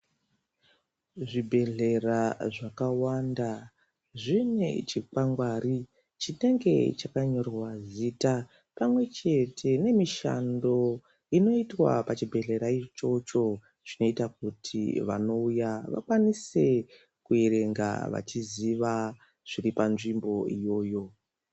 Zvibhedhlera zvakawanda zvine chikwangari chinenge chakanyorwa zita pamwe chete nemishando inoitwa pachibhedhlera ichocho zvinoita kuti vantu vanouya vakwanise kuverenga vachiziva zviri panzvimbo iyoyo.